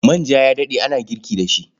Manja ya daɗe ana girki da shi.